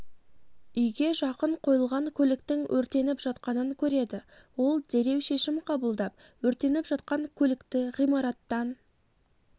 үйге жақын қойылған көліктің өртеніп жатқанын көреді ол дереу шешім қабылдап өртеніп жатқан көлікті ғимараттан